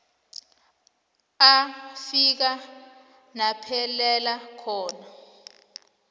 afika naphelela khona